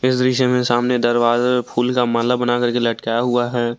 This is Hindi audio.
इस दृश्य में सामने दरवाजा फूल का माला बना करके लटकाया हुआ है।